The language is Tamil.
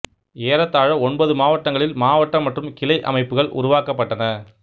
ஏழத்தாழ ஒன்பது மாவட்டங்களில் மாவட்ட மற்றும் கிளை அமைப்புகள் உருவாக்கப்பட்டன